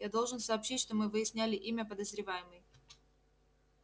я должен сообщить что мы выяснили имя подозреваемой